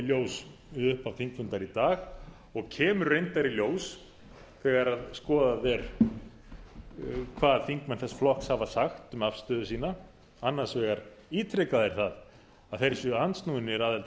ljós við upphaf þingfundar í dag og kemur reyndar í ljós þegar skoðað er hvað þingmenn þess flokks hafa sagt um afstöðu sína annars vegar ítreka þeir það að þeir séu andsnúnir aðild að